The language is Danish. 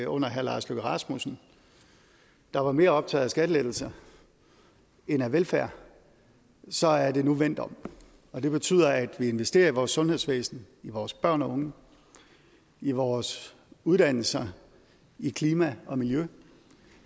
under herre lars løkke rasmussen der var mere optaget af skattelettelser end af velfærd så er det nu vendt om og det betyder at vi investerer i vores sundhedsvæsen i vores børn og unge i vores uddannelser i klima og miljø